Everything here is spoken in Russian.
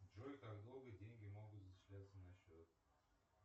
джой как долго деньги могут зачисляться на счет